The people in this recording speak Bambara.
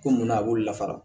Ko munna a b'olu lafara